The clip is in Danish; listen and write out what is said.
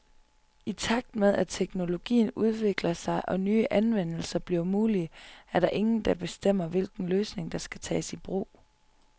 I takt med, at teknologien udvikler sig og nye anvendelser bliver mulige, er der ingen, der bestemmer, hvilken løsning, der skal tages i brug.